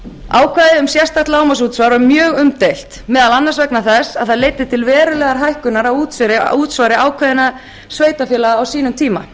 ákvæðið um sérstakt lágmarksútsvar var mjög umdeilt meðal annars vegna þess að það leiddi til verulegrar hækkunar á útsvari ákveðinna sveitarfélaga á sínum tíma